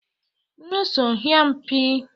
Mmesom hyiam pii